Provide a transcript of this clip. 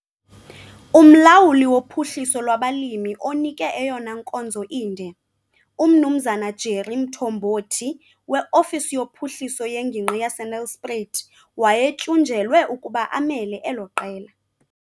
UMlawuli woPhuhliso lwabaLimi onike eyona nkonzo inde, uMnumzana Jerry Mthombothi weofisi yoPhuhliso yeNgingqi yaseNelspruit, wayetyunjelwe ukuba amele elo qela.